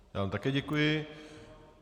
Já vám také děkuji.